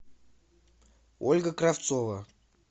ольга кравцова